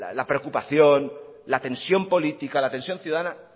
la preocupación la tensión política la tensión ciudadana